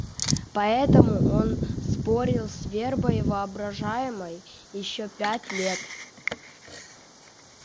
поэтому он спорил с вербой воображаемой ещё пять лет